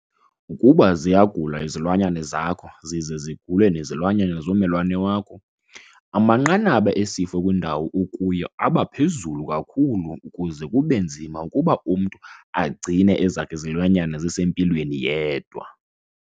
Ukuba ziyagula izilwanyana zakho zize zigule nezilwanyana zommelwane wakho, amanqanaba esifo kwindawo okuyo aba phezulu kakhulu kuze kube nzima ukuba umntu agcine ezakhe izilwanyana zisempilweni yedwa.